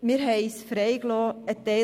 Christoph Neuhaus mit 153 Stimmen